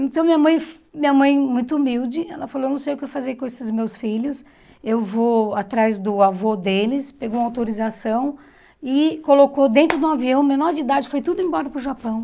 Então minha mãe, minha mãe muito humilde, ela falou, eu não sei o que fazer com esses meus filhos, eu vou atrás do avô deles, pegou uma autorização e colocou dentro de um avião, menor de idade, foi tudo embora para o Japão.